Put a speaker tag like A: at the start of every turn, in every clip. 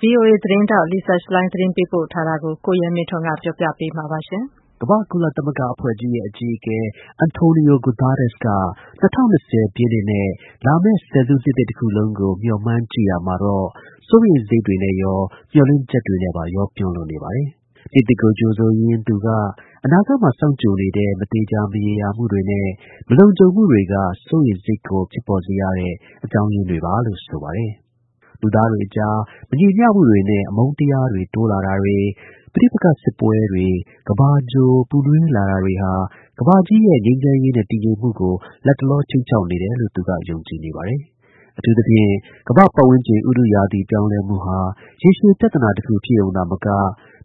A: ဗီအိုအေသတင်းထောက် Lisa Schlein သတင်းပေးပို့ထားတာကို ကိုရဲမင်းထွန်းက ပြောပြပေးပါမယ်။
B: ကုလသမဂ္ဂအဖွဲ့ကြီးရဲ့ အကြီအကဲ Antonio Guetteres က ၂၀၂၀ ပြည့်နှစ်နဲ့ လာမယ့်ဆယ်စုနှစ်သစ်တစ်ခုလုံးကို မျှော်မှန်းကြည့်ရာမှာတော့ စိုးရိမ်စိတ်တွေနဲ့ရော၊ မျှော်လင့်ချက်တွေနဲ့ပါ ရောပြွန်းလို့နေပါတယ်။ နှစ်သစ်ကို ကြိုဆိုရင်း သူက အနာဂတ်မှာ စောင့်ကြိုနေတဲ့ မသေချာမရေရာမှှုတွေနဲ့ မလုံခြုံမှုတွေက စိုးရိမ်စိတ်ကို ဖြစ်ပေါ်စေရတဲ့အကြောင်းရင်းတွေပါလို့ ဆိုပါတယ်။ လူသားတွေအကြား မညီမျှမှုတွေနဲ့ အမုန်းတရားတွေ တိုးလာတာတွေ၊ ပဋိပက္ခစစ်ပွဲတွေ၊ ကမ္ဘာဂြိုဟ်ပူနွေးလာတာတွေဟာ ကမ္ဘာကြီးရဲ့ ငြိမ်းချမ်းရေးနဲ့ တည်ငြိမ်မှုကို လတ်တလော ခြိမ်းခြောက်နေတယ်လို့ သူက ယုံကြည်နေပါတယ်။ အထူးသဖြင့် ကမ္ဘာ့ပတ်ဝန်းကျင် ဥတုရာသီပြောင်းလဲမှုဟာ ရေရှည် ပြဿနာတစ်ခုဖြစ်ရုံသာမက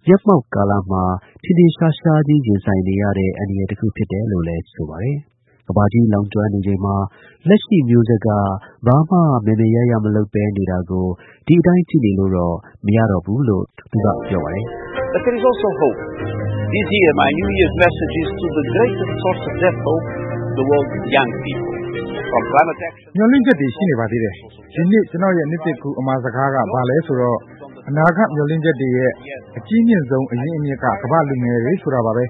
B: မျက်မှောက်ကာလမှာ ထင်ထင်ရှားရှားကြီး ရင်ဆိုင်နေရတဲ့အန္တရာယ်တခုဖြစ်တယ်လို့လည်းဆိုပါတယ်။ ကမ္ဘာကြီးလောင်ကျွမ်းနေချိန်မှာ လက်ရှိမျိုးဆက် ဘာမှမယ်မယ်ရရ မလုပ်ဘဲနေတာကို ဒီအတိုင်း ကြည့်နေလို့ မရတော့ဘူးလို့ သူက ပြော ပါတယ်။ “မျှော်လင့်ချက်တွေ ရှိ
C: နေပါသေးတယ်။ ဒီနှစ် ကျနော့်ရဲ့ နှစ်သစ်ကူးအမှာစကားက ဘာလဲဆိုတော့ အနာဂတ် မျှော်လင့်ချက်တွေရဲ့အကြီးမြင့်ဆုံး အရင်းအမြစ်က ကမ္ဘာ့လူငယ်တွေဆိုတာပါပဲ။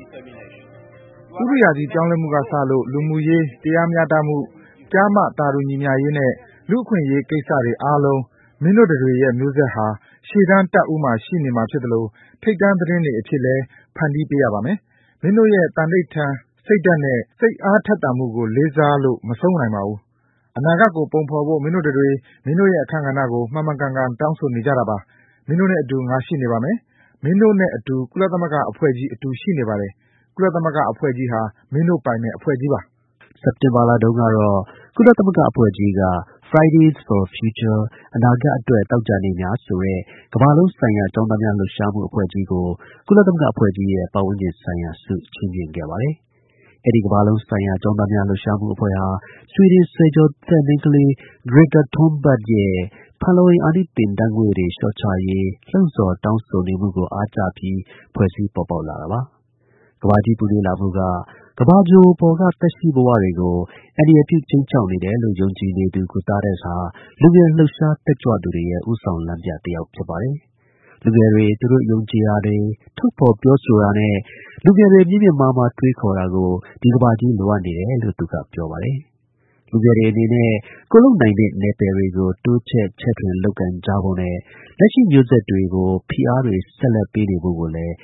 C: ဥတုရာသီပြောင်းလဲမှုကစလို့ လူမှုရေးတရားမျှတမှု၊ ကျား၊ မ သာတူညီမျှရှိရေးနဲ့ လူ့အခွင့်အရေးကိစ္စတွေ အဆုံး မင်းတို့တတွေရဲ့မျိုးဆက်ဟာ ရှေ့တန်းတပ်ဦးမှာရှိနေမှာဖြစ်သလို ထိပ်တန်းသတင်းတွေအဖြစ်လည်း ဖန်တီးနေရပါမယ်။ မင်းတို့ရဲ့သံန္နိဌာန် စိတ်ဓါတ်နဲ့ စိတ်အားထက်သန်မှုကို လေးစားလို့မဆုံးပါဘူး။ အနာဂတ်ကို ပုံဖော်ဖို့ မင်းတို့တတွေ မင်းတို့ရဲ့အခန်းကဏ္ဍကို မှန်မှန်ကန်ကန် တောင်းဆိုနေကြတာပါ။ မင်းတို့နဲ့အတူ ငါရှိနေပါမယ်။ မင်းတို့နဲ့အတူကုလသမဂ္ဂအဖွဲ့ကြီး အတူရှိနေပါတယ်။ ကုလသမဂ္ဂအဖွဲ့ကြီးဟာ မင်းတို့ ပိုင်တဲ့ အဖွဲ့ကြီးပါ။
B: ” စက်တင်ဘာလတုန်းကတော့ ကုလသမဂ္ဂအဖွဲ့ကြီးက (Fridays for Future) အနာဂတ်အတွက် သောကြာနေ့များဆိုတဲ့ ကမ္ဘာလုံးဆိုင်ရာ ကျောင်းသားများလှုပ်ရှားမှုအဖွဲ့ကြီးကို ကုလသမဂ္ဂအဖွဲ့ကြီးရဲ့ ပတ်ဝန်းကျင်ဆိုင်ရာဆု ချီးမြှင့်ခဲ့ပါတယ်။ အဲဒီ ကမ္ဘာလုံးဆိုင်ရာ ကျောင်းသားများ လှုပ်ရှားမှု အဖွဲ့ဟာ ဆွီဒင်ဆယ်ကျော်သက် မိန်းကလေး Greta Thunberg ရဲ့ ဖန်လုံအိမ်အာနိသင်ဓါတ်ငွေ့တွေ လျှော့ချရေး လှုံ့ဆော်တောင်းဆိုနေမှုကို အားကျပြီး ဖွဲ့စည်းပေါ်ပေါက်လာတာပါ။ ကမ္ဘာကြီးပူနွေးလာမှုက ကမ္ဘာဂြိုဟ်ပေါ်က သက်ရှိဘဝတွေကို အန္တရာယ်ပြုခြိမ်းခြောက်နေတယ်လို့ ယုံကြည်နေသူ Guterres ဟာ လူငယ် လှုပ်ရှား တက်ကြွသူတွေရဲ့ ဦးဆောင်လမ်းပြတယောက်ဖြစ်ပါတယ်။ လူငယ်တွေ သူတို့ယုံကြည်ရာ ထုတ်ဖော်ပြောဆိုတာနဲ့ လူငယ်တွေ မြင့်မြင့်မားမား တွေးခေါ်တာကို ဒီကမ္ဘာကြီးလိုအပ်နေတယ်လို့ သူက ပြောပါတယ်။ လူငယ်တွေအနေနဲ့ ကိုယ်လုပ်နိုင်တဲ့နယ်ပယ်တွေကို တိုးချဲ့ ချဲ့ထွင်လုပ်ကိုင်ကြဖို့နဲ့ လက်ရှိမျိုးဆက်ကို ဖိအားတွေဆက်ပေးနေဖို့လည်း